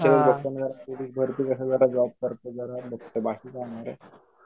बाकी काय नाय रे.